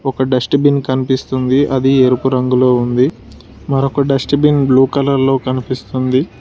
ఒక dust bin కనిపిస్తుంది అది ఎరుపు రంగులో ఉంది మరొక డస్ట్ బిన్ బ్లూ కలర్ లో కనిపిస్తుంది.